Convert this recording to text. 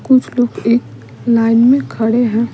कुछ लोग एक लाइन में खड़े हैं।